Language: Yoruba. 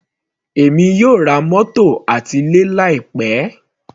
Èmi yóò ra mótò àti ilé láì pẹ́.